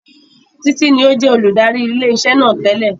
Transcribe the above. Títí ní ó jẹ́ olùdarí ilé iṣẹ́ náà tẹ́lẹ̀